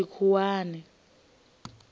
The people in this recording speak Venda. tshikhuwani